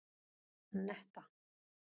Anetta